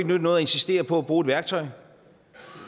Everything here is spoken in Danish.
nytte noget at insistere på at bruge et værktøj